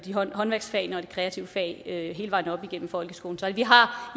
håndværksfagene og de kreative fag hele vejen op igennem folkeskolen så vi har